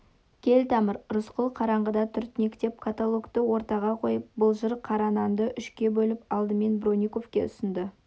кел тамыр рысқұл қараңғыда түртінектеп котелокты ортаға қойып былжыр қара нанды үшке бөліп алдымен бронниковке ұсынды